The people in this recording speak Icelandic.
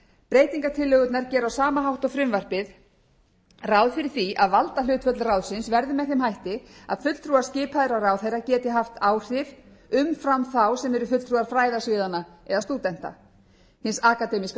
breytingartillögurnar gera á sama hátt og frumvarpið ráð fyrir að valdahlutföll ráðsins verði með þeim hætti að fulltrúar skipaðir af ráðherra geti haft áhrif umfram þá sem eru fulltrúar fræðasviðanna eða stúdenta hins akademíska